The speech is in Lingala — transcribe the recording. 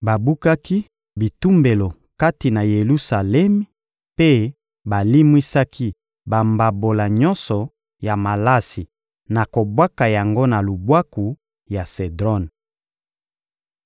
Babukaki bitumbelo kati na Yelusalemi mpe balimwisaki bambabola nyonso ya malasi na kobwaka yango na lubwaku ya Sedron.